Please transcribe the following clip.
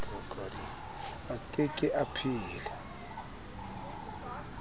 a ke ke a phela